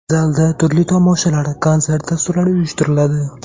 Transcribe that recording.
Zalda turli tomoshalar, konsert dasturlari uyushtiriladi.